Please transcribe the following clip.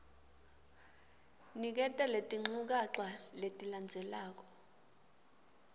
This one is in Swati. niketa letinchukaca letilandzelako